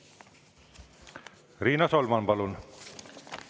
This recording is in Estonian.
Riina Solman, palun!